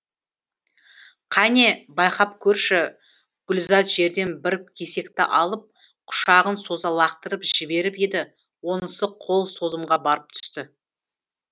қане байқап көрші гүлзат жерден бір кесекті алып құшағын соза лақтырып жіберіп еді онысы қол созымға барып түсті